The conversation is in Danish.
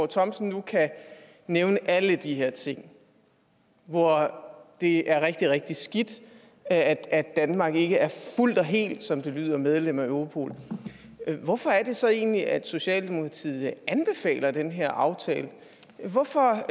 thomsen nu kan nævne alle de her ting hvor det er rigtig rigtig skidt at at danmark ikke er fuldt og helt som det lyder medlem af europol hvorfor er det så egentlig at socialdemokratiet anbefaler den her aftale hvorfor